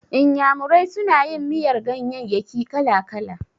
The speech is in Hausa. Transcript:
Iyamurai suna yin miyar ganyayyaki kala-kala.